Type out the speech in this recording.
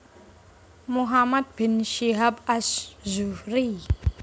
Muhammad bin Syihab Az Zuhriy